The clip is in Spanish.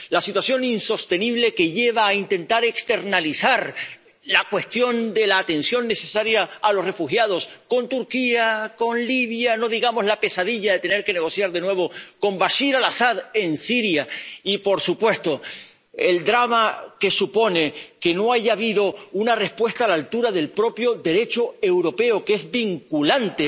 Es una situación insostenible que lleva a intentar externalizar la cuestión de la atención necesaria a los refugiados a Turquía, a Libia, por no hablar de la pesadilla de tener que negociar de nuevo con Bashar al Asad en Siria y, por supuesto, del drama que supone que no haya habido una respuesta a la altura del propio Derecho europeo, que es vinculante.